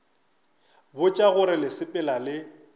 botša gore le sepela le